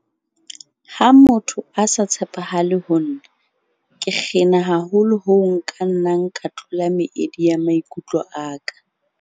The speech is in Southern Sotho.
Ha motho a sa tshepahale ho nna, ke kgena haholo hoo nka nnang ka tlola meedi ya maikutlo a ka.